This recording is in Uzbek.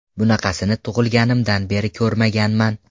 Bunaqasini tug‘ilganimdan beri ko‘rmaganman.